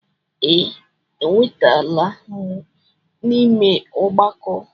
Ee, ewebatala m n'ime ọgbakọ.